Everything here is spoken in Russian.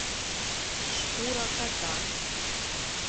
шкура кота